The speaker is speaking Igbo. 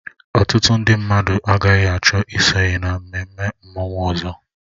Ọtụtụ ndị mmadụ agaghị achọ isonye na mmemme mmanwụ ọzọ